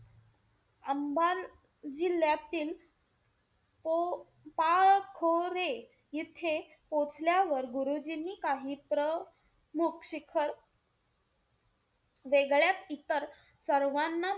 अंबाल जिल्ह्यातील पो~ पाखोरे इथे पोचल्यावर, गुरुजींनी काही प्रमुख शिखर वेगळ्याच इतर सर्वांना,